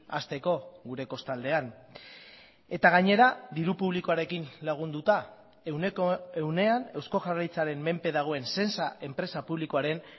hasteko gure kostaldean eta gainera diru publikoarekin lagunduta ehuneko ehunean eusko jaurlaritzaren menpe dagoen sensa enpresa publikoaren